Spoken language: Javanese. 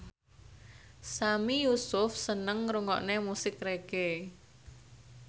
Sami Yusuf seneng ngrungokne musik reggae